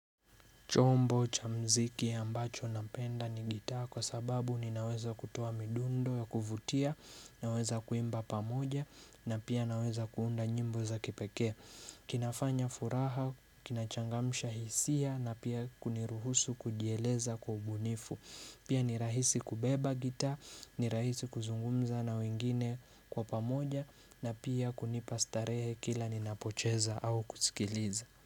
Chombo cha muziki ambacho napenda ni gitaa kwa sababu ninaweza kutoa midundo ya kuvutia, naweza kuimba pamoja na pia naweza kuunda nyimbo za kipekee. Kinafanya furaha, kinachangamsha hisia na pia kuniruhusu kujieleza kwa ubunifu. Pia ni rahisi kubeba gitaa, ni rahisi kuzungumza na wengine kwa pamoja na pia kunipa starehe kila ninapocheza au kusikiliza.